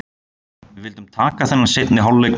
Við vildum taka þennan seinni hálfleik með stæl.